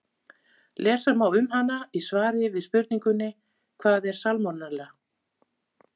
Lesa má um hana í svari við spurningunni Hvað er salmonella?